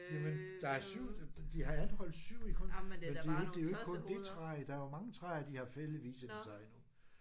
Jamen der er 7 de har anholdt 7 i men det er jo ikke det er jo ikke kun det træ der er mange træer de har fældet viser det sig nu